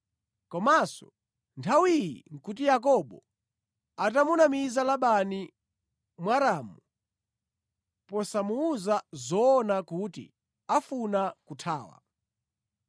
Komanso nthawi iyi nʼkuti Yakobo atamunamiza Labani Mwaramu posamuwuza zoona kuti afuna kuthawa.